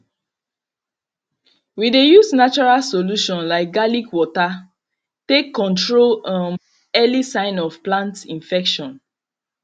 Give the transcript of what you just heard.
we dey use natural solution like garlic water take control um early sign of plant infection